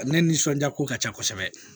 Ale nisɔndiya ko ka ca kosɛbɛ